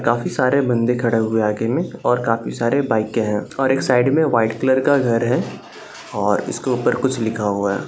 काफी सारे बंदे खड़े हुए हैं आगे में और काफी सारी बाइकें है और एक साइड में व्हाइट कलर का घर है और इसके ऊपर कुछ लिखा हुआ है।